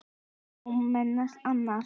Já, meðal annars.